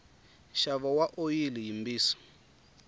nxavo wa oyili yimbisi